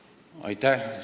Aitäh!